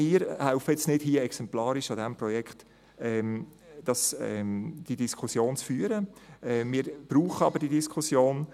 Wir helfen nicht mit, die Diskussion exemplarisch an diesem Projekt zu führen, wir brauchen aber diese Diskussion.